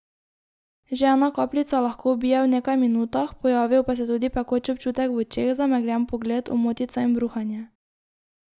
Že ena kapljica lahko ubije v nekaj minutah, pojavijo pa se tudi pekoč občutek v očeh, zamegljen pogled, omotica in bruhanje.